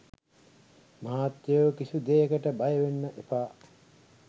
මහත්තයෝ කිසි දෙයකට බයවෙන්න එපා.